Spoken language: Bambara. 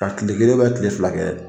Ka kile kelen ubɛ kile fila kɛ